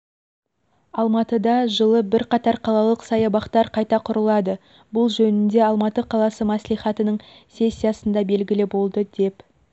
алматыда жылы бірқатар қалалық саябақтар қайта құрылады бұл жөнінде алматы қаласы мәслихатының сессиясында белгілі болды деп